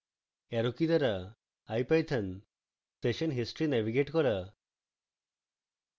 arrow কী দ্বারা ipython session history navigate করা